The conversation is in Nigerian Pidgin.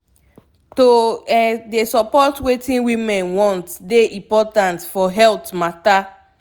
to um dey support wetin women want dey important for health matta